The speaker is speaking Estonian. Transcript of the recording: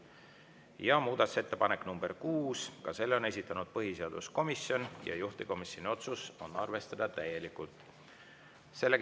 Ja muudatusettepanek nr 6, ka selle on esitanud põhiseaduskomisjon ja juhtivkomisjoni otsus: arvestada täielikult.